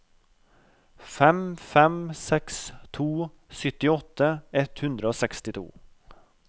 fem fem seks to syttiåtte ett hundre og sekstito